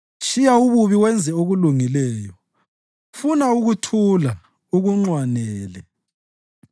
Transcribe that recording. Tshiya ububi wenze okulungileyo; funa ukuthula ukunxwanele.